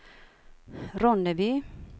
Ronneby